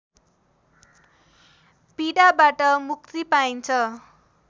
पीडाबाट मुक्ति पाइन्छ